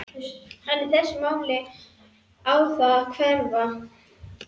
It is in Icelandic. En í þessu máli á það að hverfa.